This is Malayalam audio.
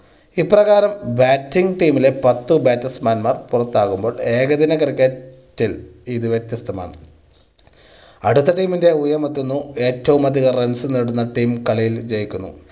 ഇപ്രകാരം batting team ലെ പത്ത് batsman മാർ പുറത്താകുമ്പോൾ ഏക ദിന cricket ൽ ഇത് വിത്യസ്തമാണ്. അടുത്ത team ൻ്റെ ഊഴമെത്തുന്നു, ഏറ്റവും അധികം runs നേടുന്ന team കളിയിൽ ജയിക്കുന്നു.